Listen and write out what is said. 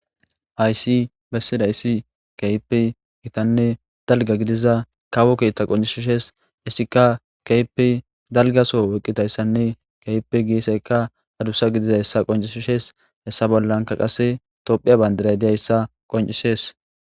haysi bessida issi keypi gitanne dalga gidiza kawo keetta qoncishishees issika keypi dalgaso woqqitayssanne keypi giiseykka hadussa gidizayssa qoncishishees hessa bollanka qase tophiya bayndira diyayssa qoncishees